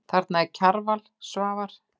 Þarna eru Kjarval, Svavar